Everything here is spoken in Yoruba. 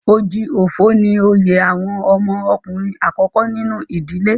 Oji Ofo ni oyè àwọn ọmọ ọkùnrin àkọ́kọ́ nínú ìdílé.